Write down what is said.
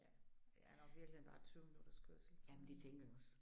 Ja det er nok i virkeligheden bare 20 minutters kørsel